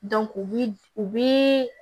u bi u bi